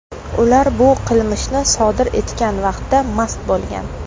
Ular bu qilmishni sodir etgan vaqtda mast bo‘lgan.